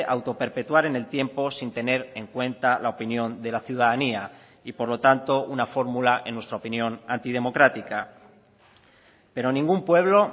autoperpetuar en el tiempo sin tener en cuenta la opinión de la ciudadanía y por lo tanto una fórmula en nuestra opinión antidemocrática pero ningún pueblo